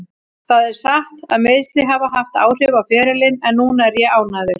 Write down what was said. Það er satt að meiðsli hafa haft áhrif á ferilinn en núna er ég ánægður.